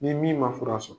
Ni min ma fura sɔrɔ